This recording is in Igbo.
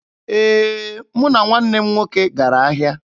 Ee, mụ na nwanne m nwoke gara ahịa.